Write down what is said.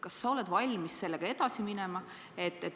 Kas sa oled valmis sellega edasi minema?